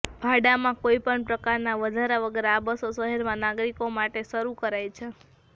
ભાડામાં કોઈપણ પ્રકારના વધારા વગર આ બસો શહેરમાં નાગરિકો માટે શરૂ કરાઈ છે